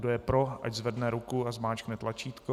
Kdo je pro, ať zvedne ruku a zmáčkne tlačítko.